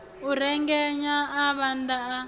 a rengenyela a vhaḓa a